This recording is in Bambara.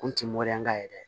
Kun ti ka ye dɛ